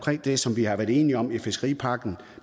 det som vi har været enige om i fiskeripakken